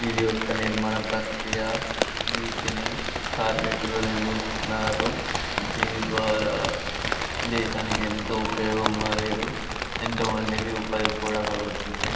ఇది ఒక నిర్మాణ ప్రకియ వీటిని కార్మికులు నిర్వహితున్నారు దీని ద్వారా దేశానికీ ఎంతో ఉపయోగం మరియు ఎంతో మందికి ఉపయోగ కుడా కలుగుతుంది.